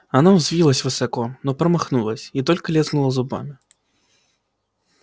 она взвилась высоко но промахнулась и только лязгнула зубами